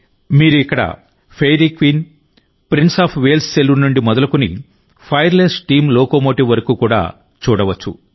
మీరు ఇక్కడ Fairy Queen Prince of Wales saloon నుండి మొదలుకొని ఫైర్లెస్ స్టీమ్ లోకోమోటివ్ వరకు కూడా చూడవచ్చు